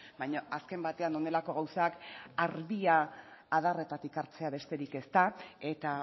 baina azken batean honelako gauzak ardia adarretatik hartzea besterik ez da eta